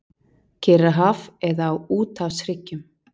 Kyrrahaf eða á úthafshryggjum.